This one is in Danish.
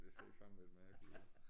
Det ser fandme lidt mærkeligt ud